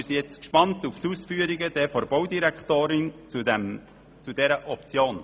Wir sind gespannt auf die Ausführungen der Baudirektorin zu dieser Option.